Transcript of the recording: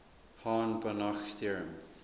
hahn banach theorem